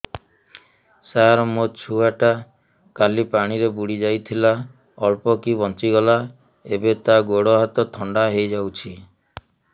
ସାର ମୋ ଛୁଆ ଟା କାଲି ପାଣି ରେ ବୁଡି ଯାଇଥିଲା ଅଳ୍ପ କି ବଞ୍ଚି ଗଲା ଏବେ ତା ଗୋଡ଼ ହାତ ଥଣ୍ଡା ହେଇଯାଉଛି